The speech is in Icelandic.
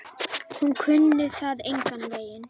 Hún kunni það engan veginn.